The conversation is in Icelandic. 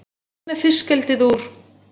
Burt með fiskeldið úr